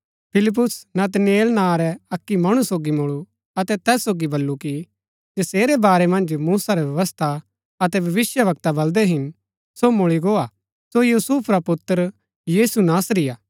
फिलिप्युस नतनेल नां रै अक्की मणु सोगी मुळू अतै तैस सोगी बल्लू कि जसेरै वारै मन्ज मूसा रै व्यवस्था अतै भविष्‍यवक्तै बलदै हिन सो मुळी गो हा सो यूसुफ रा पुत्र यीशु नासरी हा